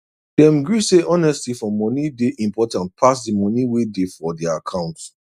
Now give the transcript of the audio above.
dem gree say honesty for money day important pass the money way day for their account